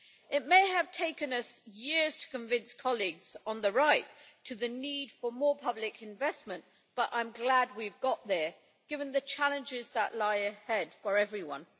It may have taken us years to convince colleagues on the right on the need for more public investment, but I am glad we have got there, given the challenges that lie ahead for everyone.